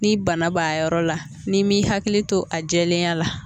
Ni bana b'a yɔrɔ la ni mn'i hakili to a jɛlenya la